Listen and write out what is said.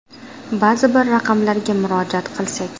Ba’zi bir raqamlarga murojaat qilsak.